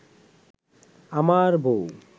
আমার বউ